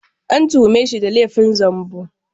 An tuhume shi da laifin zambo